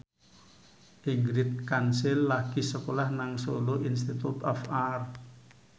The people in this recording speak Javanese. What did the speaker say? Ingrid Kansil lagi sekolah nang Solo Institute of Art